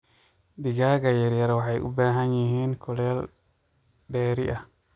Digaaga yaryar waxay u baahan yihiin kuleyl dheeri ah.